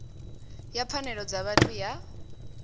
ya pfanelo dza vhathu ya